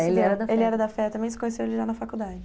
Ele era da FEA também, você conheceu ele já na faculdade?